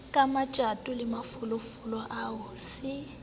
kamatjato le mafolofolo ao se